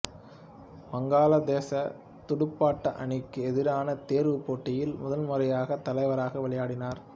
வங்காளதேசத் துடுப்பாட்ட அணிக்கு எதிரான தேர்வுப் போட்டியில் முதல் முறையாக தலைவராக விளையாடினார்